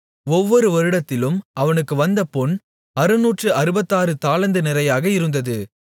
ஒவ்வொரு வருடத்திலும் அவனுக்கு வந்த பொன் அறுநூற்று அறுபத்தாறு தாலந்து நிறையாக இருந்தது